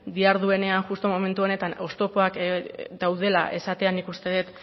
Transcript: diharduenean justu momentu honetan oztopoak daudela esatea nik uste dut